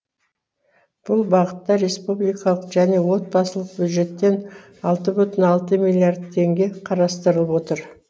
бұл бағытта республикалық және отбасылық бюджеттен алты бүтін алты миллиард теңге қарастырылып отыр